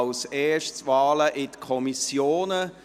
Als Erstes: Wahlen in die Kommissionen.